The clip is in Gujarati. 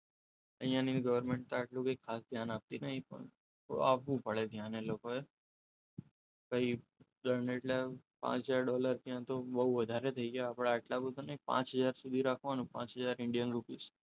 અહીંયા ની ગવર્મેન્ટ તો આટલું કંઈ ખાસ ધ્યાન આપતી નથી પણ આપવો પડે ધ્યાન એ લોકોએ પછી દંડ એટલે પાંચ હજાર ડોલર એટલે બહુ વધારે થઈ ગયા આપણે આટલા બધા નહીં પણ પાંચ હજાર સુધી રાખવાનું પાંચ હજાર ઇન્ડિયન રૂપીસ.